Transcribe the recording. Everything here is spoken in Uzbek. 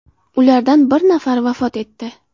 Ulardan bir nafari vafot etdi.